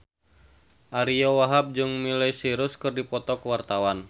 Ariyo Wahab jeung Miley Cyrus keur dipoto ku wartawan